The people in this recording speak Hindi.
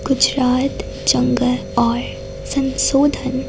गुजरात जंगल और संशोधन--